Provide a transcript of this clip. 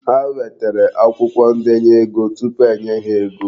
Ha nwetere akwụkwọ ndenye ego tupu e nye ha ego.